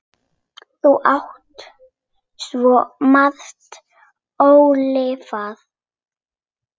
Þú áttir svo margt ólifað.